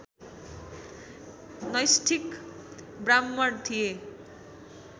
नैष्ठिक ब्राह्मण थिए